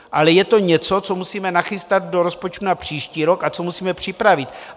Ale je to něco, co musíme nachystat do rozpočtu na příští rok a co musíme připravit.